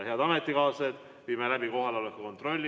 Head ametikaaslased, viime läbi kohaloleku kontrolli.